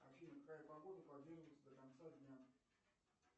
афина какая погода продержится до конца дня